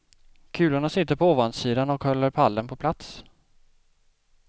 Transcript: Kulorna sitter på ovansidan och håller pallen på plats.